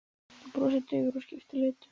Þú brosir daufur og skiptir litum.